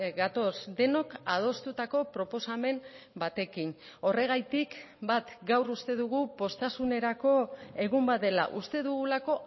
gatoz denok adostutako proposamen batekin horregatik bat gaur uste dugu poztasunerako egun bat dela uste dugulako